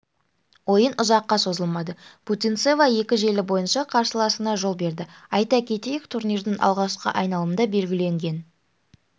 ойын ұзаққа созылмады путинцева екі желі бойынша қарсыласына жол берді айта кетейік турнирдің алғашқы айналымында белгіленген